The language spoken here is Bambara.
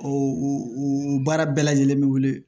O o baara bɛɛ lajɛlen bɛ wele